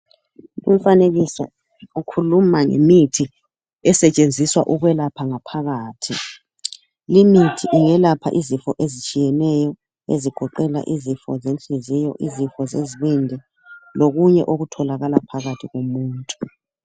Umfanekiso ukhuluma ngemithi esetshenziswa ukwelapha ngaphakathi. Limithi iyelapha izifo ezitshiyeneyo ezigoqela izifo zenhliziyo, izifo zezibindi lokunye okutholakala phakathi komuntu.